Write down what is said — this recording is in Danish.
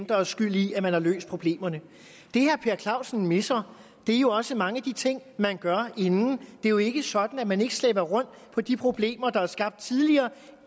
der er skyld i at man har løst problemerne det herre per clausen misser er jo også mange af de ting man gør inden det er jo ikke sådan at man ikke slæber rundt på de problemer der er skabt tidligere